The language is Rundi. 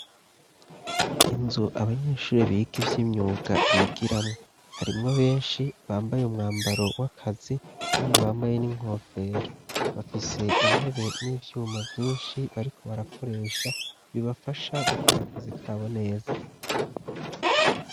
Inzu abanyeshuri bika ivy'imyuga bigiramwo harimwo benshi bambaye umwambaro w'akazi kandi bambaye n'inkofero bafise intebe n'ivyuma vyinshi bariko barakoresha bibafasha gukora akazi kabo neza.